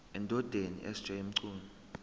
endodeni sj mchunu